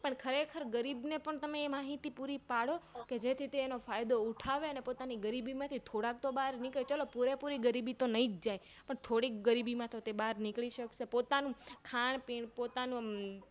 પણ ખરેખર ગરીબને તમે તે માહિતી પૂરી પાડો છોકે જેથી તે એનો ફાયદો ઉઠાવે અને પોતાની ગરીબીમાંથી થોડાક તો બાર નીકળે ચલો પૂરે પૂરી ગરીબી તો ન્હીજ જાય પણ થોડીક ગરીબી માટે બાર નીકળી સકેશે પોતાનું ખાનપીન પોતાનું